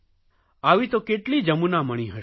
આવી તો કેટલી જમુનામણિ હશે